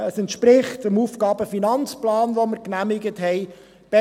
Sie entspricht dem AFP, den wir genehmigt haben.